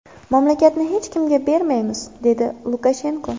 Mamlakatni hech kimga bermaymiz”, dedi Lukashenko.